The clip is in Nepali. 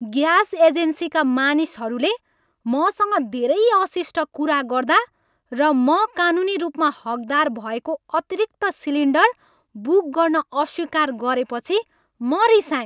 ग्यास एजेन्सीका मानिसहरूले मसँग धेरै अशिष्ट कुरा गर्दा र म कानुनी रूपमा हकदार भएको अतिरिक्त सिलिन्डर बुक गर्न अस्वीकार गरेपछि म रिसाएँ।